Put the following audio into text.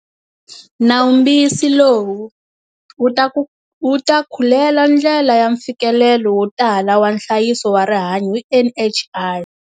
Nawumbisi lowu wu ta ku wu ta khulela ndlela ya mfikelelo wo tala wa nhlayiso wa rihanyo hi NHI.